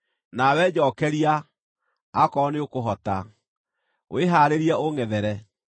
Nawe njookeria, akorwo nĩũkũhota; wĩhaarĩrie ũũngʼethere.